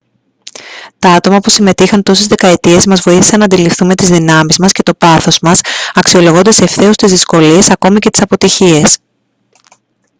τα άτομα που συμμετείχαν τόσες δεκαετίες μας βοήθησαν να αντιληφθούμε τις δυνάμεις μας και το πάθος μας αξιολογώντας ευθέως τις δυσκολίες ακόμα και τις αποτυχίες